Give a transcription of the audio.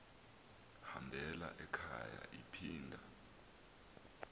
hambela ekhaya iphinda